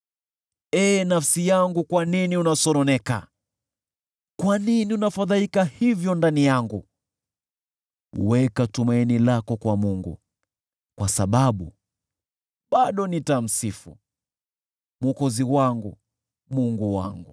Ee nafsi yangu, kwa nini unasononeka? Kwa nini unafadhaika hivyo ndani yangu? Weka tumaini lako kwa Mungu, kwa sababu bado nitamsifu, Mwokozi wangu na Mungu wangu.